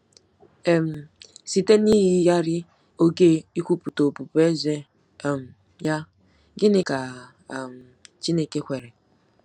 um Site n'iyigharị oge ikwupụta ọbụbụeze um ya, gịnị ka um Chineke kwere?